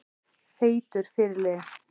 Feitur fyrirliði?